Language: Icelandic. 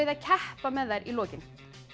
að keppa með þær í lokin